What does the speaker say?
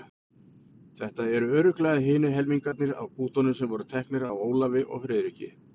Þetta eru örugglega hinir helmingarnir af bútunum sem voru teknir af Ólafi og Friðriki.